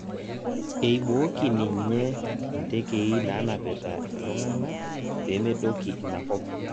Eibooki ninye intekei naanapita ilntung'anak pemedoki inakop